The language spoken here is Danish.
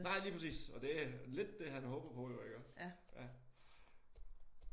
Nej lige præcis og det lidt det han håber på jo iggå